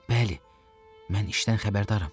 Bəli, mən işdən xəbərdaram.